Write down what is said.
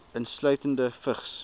insluitende vigs